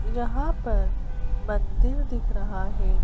यहां पर मंदिर दिख रहा है।